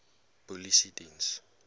polisiediens